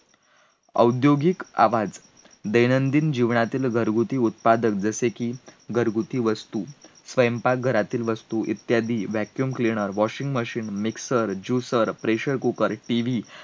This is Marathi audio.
औद्योगिक आवाज, दैनंदिन जीवनातील घरगुती उत्पादक जसे की, घरगुती वस्तू, स्वयंपाक घरातील वस्तू, इत्यादी. vaccuum cleaner, washing machine, mixer, juicer, pressure cooker, TV